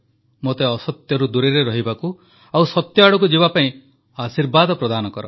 ମୋତେ ଅସତ୍ୟରୁ ଦୂରରେ ରହିବାକୁ ଓ ସତ୍ୟ ଆଡ଼କୁ ଯିବାପାଇଁ ଆଶୀର୍ବାଦ ପ୍ରଦାନ କର